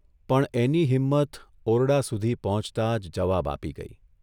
પણ એની હિમ્મત ઓરડા સુધી પહોંચતા જ જવાબ આપી ગઇ.